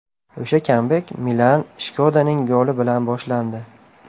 O‘sha kambek Milan Shkodaning goli bilan boshlandi.